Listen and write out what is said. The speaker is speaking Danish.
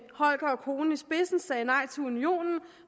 holger og konen i spidsen sagde nej til unionen